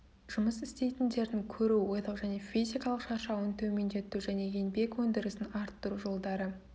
жұмыс істейтіндердің көру ойлау және физикалық шаршауын төмендету және еңбек өндірісін арттыру жолдары